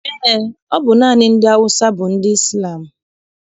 Eé, ọ bụ naanị ndị Awụsa bụ ndị Izlam.